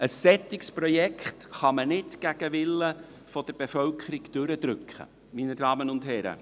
Ein solches Projekt kann man nicht gegen den Willen der Bevölkerung durchdrücken, meine Damen und Herren!